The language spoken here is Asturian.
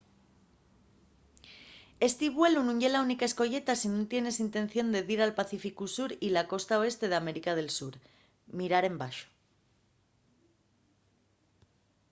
esti vuelu nun ye la única escoyeta si nun tienes intención de dir al pacíficu sur y a la costa oeste d’américa del sur. mirar embaxo